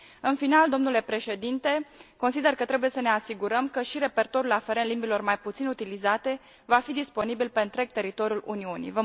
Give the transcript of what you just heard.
În final, domnule președinte, consider că trebuie să ne asigurăm că și repertoriul aferent limbilor mai puțin utilizate va fi disponibil pe întreg teritoriul Uniunii.